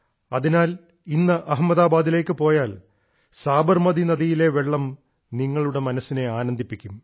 അതിനാൽ ഇന്ന് അഹമ്മദാബാദിലേക്ക് പോയാൽ സാബർമതി നദിയിലെ വെള്ളം നിങ്ങളുടെ മനസ്സിനെ ആനന്ദിപ്പിക്കും